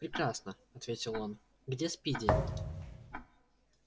прекрасно ответил он где спиди